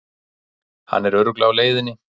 Hann er örugglega á leiðinni.